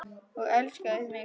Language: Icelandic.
Og elskaði mig.